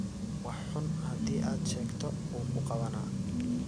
Wax xuun hadi aad sheegto uu kuqawana.